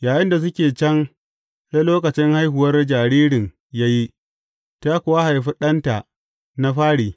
Yayinda suke can, sai lokacin haihuwar jaririn ya yi, ta kuwa haifi ɗanta na fari.